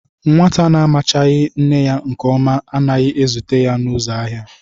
Nwata na-amachaghị nne ya nke ọma anaghi ezute ya n'uzo ahia